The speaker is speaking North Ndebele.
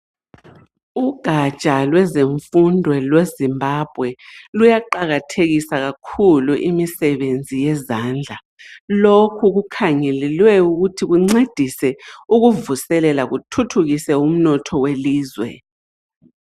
Ugatsha lwezemfundo lweZimbabwe, luyaqakathekisa imsebenzi yezandla. Lokhu kungalelwe ukuthi kuncedise ukuvuselela, kuthuthukise umnotho welizwe.